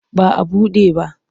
Ba a buɗe ba.